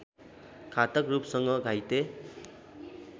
घातक रूपसँग घाइते